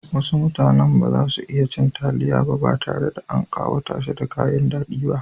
Wasu mutanen ba za su iya cin taliya ba tare da an ƙawata ta da kayan haɗi ba.